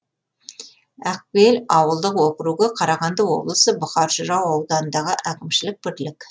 ақбел ауылдық округі қарағанды облысы бұқар жырау ауданындағы әкімшілік бірлік